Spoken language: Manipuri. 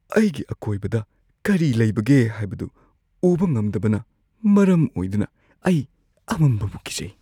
ꯑꯩꯒꯤ ꯑꯀꯣꯏꯕꯗ ꯀꯔꯤ ꯂꯩꯕꯒꯦ ꯍꯥꯏꯕꯗꯨ ꯎꯕ ꯉꯝꯗꯕꯅ ꯃꯔꯝ ꯑꯣꯏꯗꯨꯅ ꯑꯩ ꯑꯃꯝꯕꯕꯨ ꯀꯤꯖꯩ꯫